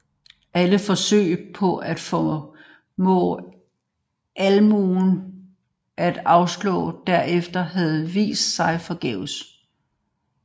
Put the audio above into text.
Alle forsøg på at formå almuen at afstå derfra havde vist sig forgæves